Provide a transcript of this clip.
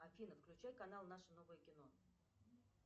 афина включай канал наше новое кино